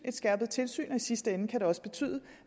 skærpet tilsyn i sidste ende kan det også betyde